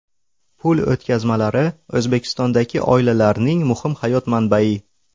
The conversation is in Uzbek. Pul o‘tkazmalari O‘zbekistondagi oilalarning muhim hayot manbai.